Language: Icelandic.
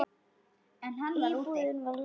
Íbúðin var læst.